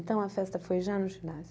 Então, a festa foi já no ginásio.